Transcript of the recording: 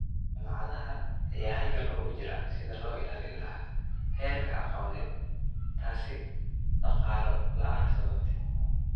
Jaamacadaha ayaa halgan ugu jiran sidi loilalin lahaa herka aqoned tasi daqalo laan sababte